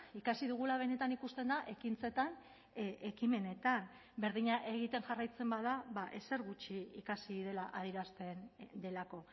ikasi dugula benetan ikusten da ekintzetan ekimenetan berdina egiten jarraitzen bada ezer gutxi ikasi dela adierazten delako